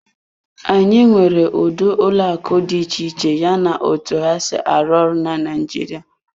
Anyị nwere ụdị ụlọ akụ dị iche iche yana otu ha si arụ ọrụ na Naịjirịa.